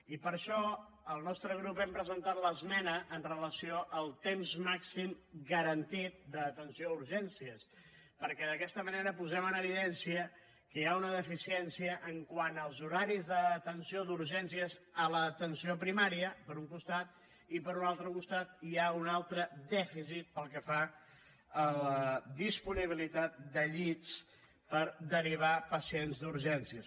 i per això el nostre grup hem presentat l’esmena amb relació al temps màxim garantit d’atenció a urgències perquè d’aquesta manera posem en evidència que hi ha una deficiència quant als horaris d’atenció d’urgències a l’atenció primària per un costat i per un altre costat hi ha un altre dèficit pel que fa a la disponibilitat de llits per derivar pacients d’urgències